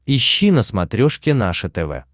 ищи на смотрешке наше тв